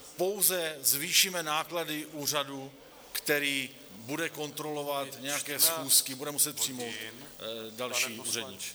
Pouze zvýšíme náklady úřadu, který bude kontrolovat nějaké schůzky, bude muset přijmout další úředníky.